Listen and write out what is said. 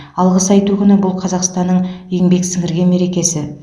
алғыс айту күні бұл қазақстанның еңбек сіңірген мерекесі